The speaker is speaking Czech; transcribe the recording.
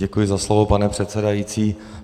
Děkuji za slovo, pane předsedající.